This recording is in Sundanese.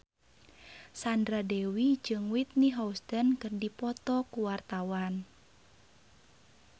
Sandra Dewi jeung Whitney Houston keur dipoto ku wartawan